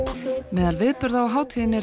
meðal viðburða á hátíðinni er